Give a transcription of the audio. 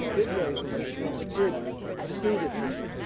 I did raise this issue and we did pursue this issue.